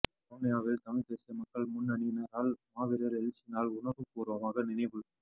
வவுனியாவில் தமிழ்த்தேசிய மக்கள் முன்னணியினரால் மாவீரர் எழுச்சி நாள் உணர்வு பூர்வமாக நினைவு